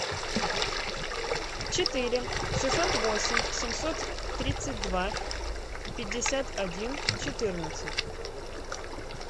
четыре шестьсот восемь семьсот тридцать два пятьдесят один четырнадцать